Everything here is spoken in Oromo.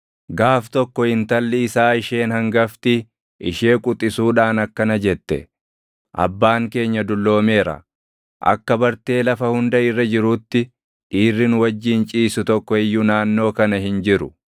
Gaaf tokko intalli isaa isheen hangafti ishee quxisuudhaan akkana jette; “Abbaan keenya dulloomeera; akka bartee lafa hunda irra jiruutti dhiirri nu wajjin ciisu tokko iyyuu naannoo kan hin jiru.